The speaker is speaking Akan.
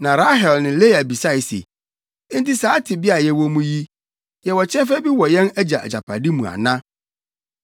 Na Rahel ne Lea bisae se, “Enti saa tebea a yɛwɔ mu yi, yɛwɔ kyɛfa bi wɔ yɛn agya agyapade mu ana?